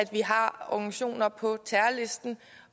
organisationer som er på terrorlisten